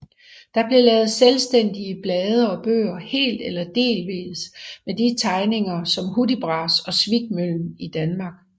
Der blev lavet selvstændige blade og bøger helt eller delvist med de tegninger som Hudibras og Svikmøllen i Danmark